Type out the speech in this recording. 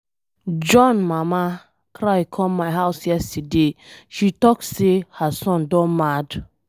John mama cry come my house yesterday. She talk say her son don mad.